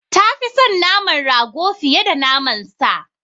Ta fi son naman rago fiye da naman sa.